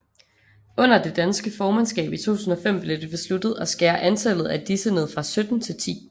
Under det danske formandskab i 2005 blev det besluttet at skære antallet af disse ned fra 17 til 10